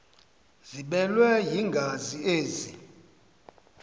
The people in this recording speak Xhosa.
ziblelwe yingazi ezi